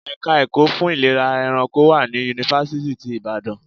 Ẹ̀ka ẹ̀kọ́ fún ìlera ẹranko wà ní Yunifásítì ti Ìbàdàn.